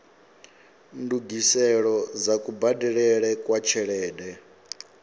ndungiselo dza kubadelele kwa tshelede